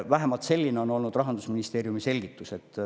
Vähemalt on selline olnud Rahandusministeeriumi selgitus.